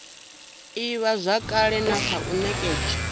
ivhazwakale na kha u nekedzwa